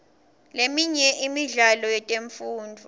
leminye imidlalo yetemfundvo